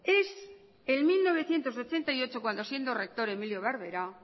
es en mil novecientos ochenta y ocho cuando siendo rector emilio barberá